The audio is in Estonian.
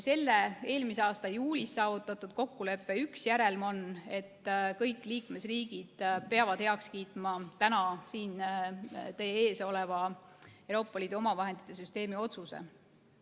Selle eelmise aasta juulis saavutatud kokkuleppe üks järelm on, et kõik liikmesriigid peavad heaks kiitma täna siin teie ees oleva Euroopa Liidu omavahendite süsteemi otsuse.